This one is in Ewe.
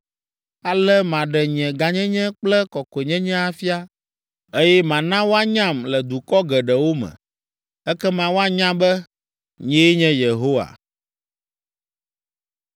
Ale maɖe nye gãnyenye kple kɔkɔenyenye afia, eye mana woanyam le dukɔ geɖewo me. Ekema woanya be, nyee nye Yehowa.”